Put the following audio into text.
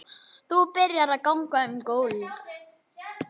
Þú byrjar að ganga um gólf.